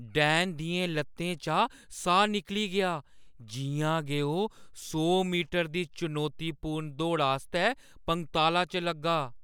डैन दियें ल'त्तें चा साह् निकली गेआ जि'यां गै ओह् सौ मीटर दी चुनौतीपूर्ण दौड़ा आस्तै पंगताला च लग्गा ।